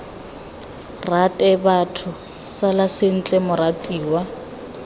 rate batho sala sentle moratiwa